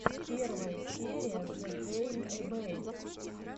первая серия зэгэймэбэй